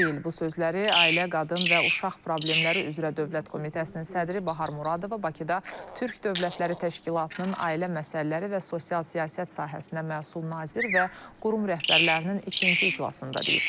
Bu sözləri Ailə, Qadın və Uşaq Problemləri üzrə Dövlət Komitəsinin sədri Bahar Muradova Bakıda Türk Dövlətləri Təşkilatının Ailə Məsələləri və Sosial Siyasət Sahəsinə məsul nazir və qurum rəhbərlərinin ikinci iclasında deyib.